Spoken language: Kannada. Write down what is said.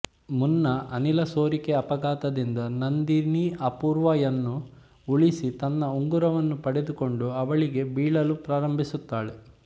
ಮುನ್ನಾ ಅನಿಲ ಸೋರಿಕೆ ಅಪಘಾತದಿಂದ ನಂದಿನಿ ಅಪೂರ್ವಾ ಯನ್ನು ಉಳಿಸಿ ತನ್ನ ಉಂಗುರವನ್ನು ಪಡೆದುಕೊಂಡು ಅವಳಿಗೆ ಬೀಳಲು ಪ್ರಾರಂಭಿಸುತ್ತಾಳೆ